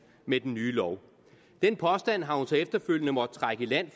med den nye lov den påstand har hun så efterfølgende måttet trække i land